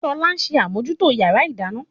Ṣọlá ṣe àmòjútó yàrá ìdáná